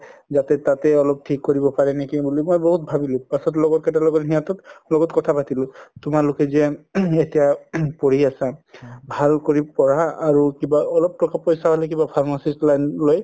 যাতে তাতে অলপ থিক কৰিব পাৰে নেকি মই বহুত ভাবিলো পাছত লগৰ কেইতাৰ লগত সিহতৰ লগত কথা পাতিলো তুমালোকে যে এতিয়া কৰি আছা ভাল কৰি পঢ়া আৰু কিবা অলপ ট্কা পইচা হলে কিবা pharmacist line লৈ